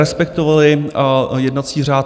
Respektovali jednací řád.